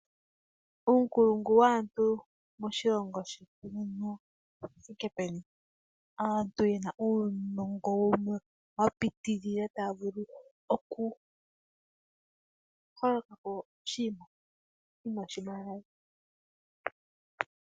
Uunkulungu waantu moshilongo shetu owuthike peni? Aantu yena uunongo wumwe wa pitilila taya vulu oku honga po oshinima shimwe.